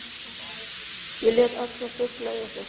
Ég lét alla fugla eiga sig